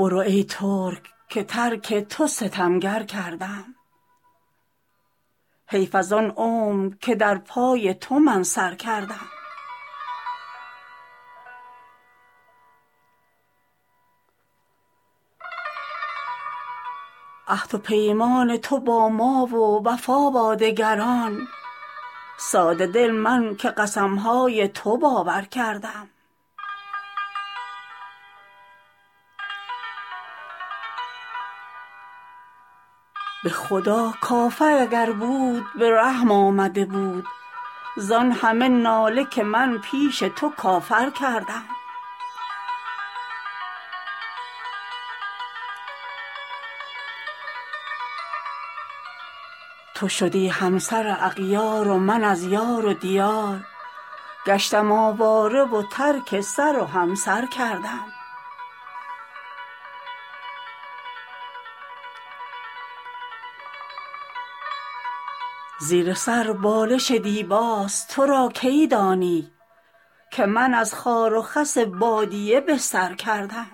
برو ای ترک که ترک تو ستمگر کردم حیف از آن عمر که در پای تو من سرکردم عهد و پیمان تو با ما و وفا با دگران ساده دل من که قسم های تو باور کردم به خدا کافر اگر بود به رحم آمده بود زآن همه ناله که من پیش تو کافر کردم تو شدی همسر اغیار و من از یار و دیار گشتم آواره و ترک سر و همسر کردم زیر سر بالش دیباست تو را کی دانی که من از خار و خس بادیه بستر کردم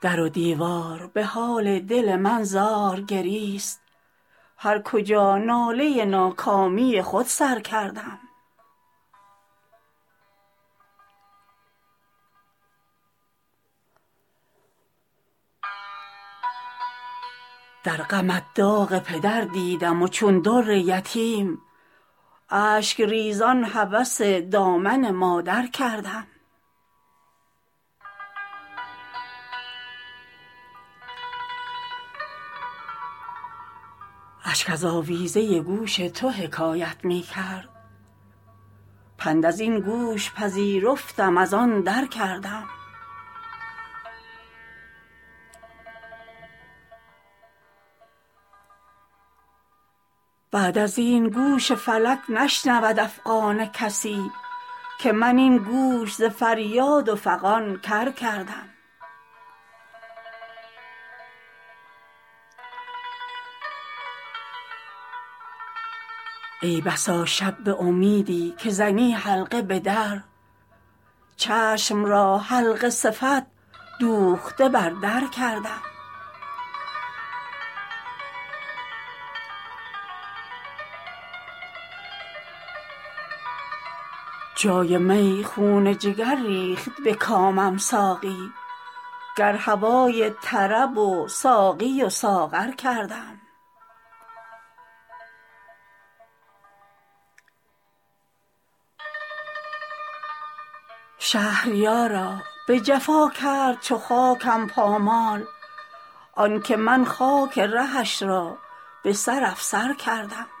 در و دیوار به حال دل من زار گریست هر کجا ناله ناکامی خود سر کردم در غمت داغ پدر دیدم و چون در یتیم اشک ریزان هوس دامن مادر کردم اشک از آویزه گوش تو حکایت می کرد پند از این گوش پذیرفتم از آن در کردم بعد از این گوش فلک نشنود افغان کسی که من این گوش ز فریاد و فغان کر کردم ای بسا شب به امیدی که زنی حلقه به در چشم را حلقه صفت دوخته بر در کردم جای می خون جگر ریخت به کامم ساقی گر هوای طرب و ساقی و ساغر کردم شهریارا به جفا کرد چو خاکم پامال آن که من خاک رهش را به سر افسر کردم